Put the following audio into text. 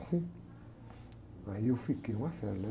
Assim, aí eu fiquei uma fera, né?